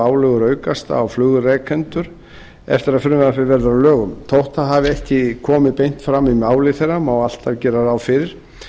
álögur aukast á flugrekendur eftir að frumvarpið verður að lögum þótt það hafi ekki komið beint fram í máli þeirra má alltaf gera ráð fyrir